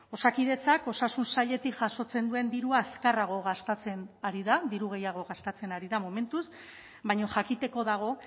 osakidetzak osasun sailetik jasotzen duen dirua azkarrago gastatzen ari da diru gehiago gastatzen ari da momentuz baina jakiteko dago